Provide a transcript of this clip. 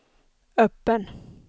öppen